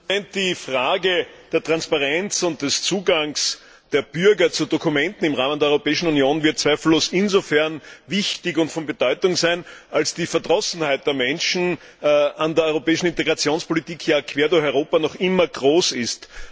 Herr Präsident! Die Frage der Transparenz und des Zugangs der Bürger zu Dokumenten im Rahmen der Europäischen Union wird zweifellos insofern wichtig und von Bedeutung sein, als die Verdrossenheit der Menschen an der europäischen Integrationspolitik quer durch Europa noch immer groß ist.